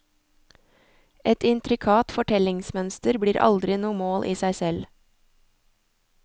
Et intrikat fortellingsmønster blir aldri noe mål i seg selv.